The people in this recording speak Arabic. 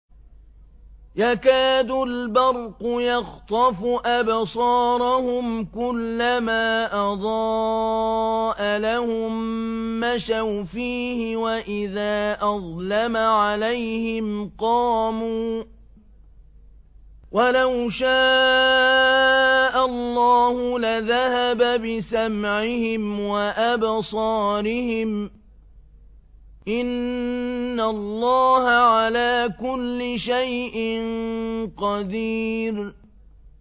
يَكَادُ الْبَرْقُ يَخْطَفُ أَبْصَارَهُمْ ۖ كُلَّمَا أَضَاءَ لَهُم مَّشَوْا فِيهِ وَإِذَا أَظْلَمَ عَلَيْهِمْ قَامُوا ۚ وَلَوْ شَاءَ اللَّهُ لَذَهَبَ بِسَمْعِهِمْ وَأَبْصَارِهِمْ ۚ إِنَّ اللَّهَ عَلَىٰ كُلِّ شَيْءٍ قَدِيرٌ